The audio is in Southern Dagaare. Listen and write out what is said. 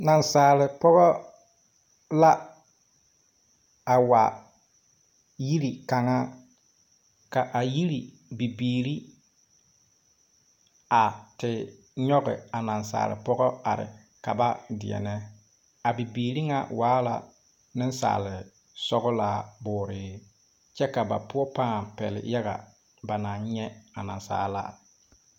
Naasaalpɔgɔ la a wa yiri kanga ka a yiri bibiiri a te nyuge a naasaalpɔgɔ arẽ kaba deɛne a bibiiri nga waa la ninsaalisɔglaa booree kye ka ba pou pãã pele yaga ba nang nye a naasaalaa.